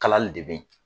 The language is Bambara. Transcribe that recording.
Kalali de bɛ ye